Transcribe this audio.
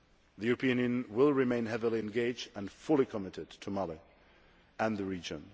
The European Union will remain heavily engaged and fully committed to Mali and the region.